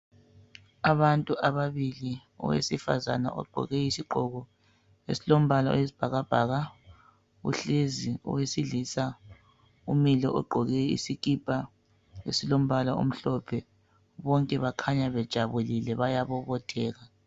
Abantu ababili, owesifazane ogqoke isigqoko esilombala oyisibhakabhaka uhlezi, owesilisa umile ugqoke isikipa esilombala omhlophe. Bonke bakhanya bejabulile bayabobotheka.